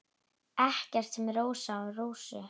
Ekkert sem minnir á Rósu.